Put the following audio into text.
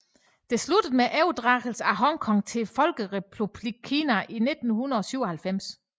Det sluttede med overdragelsen af Hong Kong til Folkerepublikken Kina i 1997